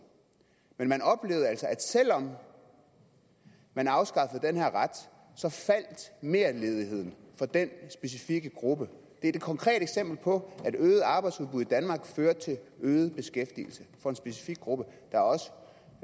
men man oplevede altså at selv om man afskaffede den her ret så faldt merledigheden for den specifikke gruppe det er et konkret eksempel på at øget arbejdsudbud i danmark fører til øget beskæftigelse for en specifik gruppe der er også